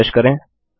refresh करें